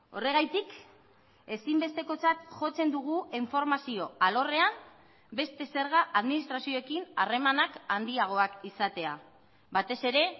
horregatik ezinbestekotzat jotzen dugu informazio alorrean beste zerga administrazioekin harremanak handiagoak izatea batez ere